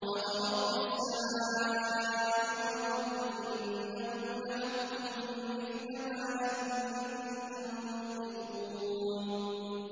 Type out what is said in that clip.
فَوَرَبِّ السَّمَاءِ وَالْأَرْضِ إِنَّهُ لَحَقٌّ مِّثْلَ مَا أَنَّكُمْ تَنطِقُونَ